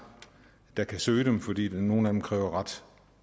der kan søge dem fordi nogle af dem kræver ret